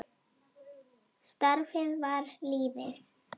Starfið var lífið.